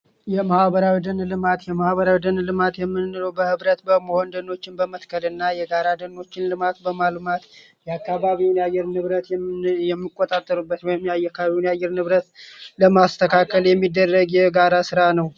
የደን ልማት የደን ልማት እንግዲህ የማህበራዊ ልማት የምንለው በህብረት በወንድሞችን በመልማት የአካባቢውን የአየር ንብረት የሚቆጣጠሩበት ለማስተካከል የሚደረግ የጋራ ስራ ነው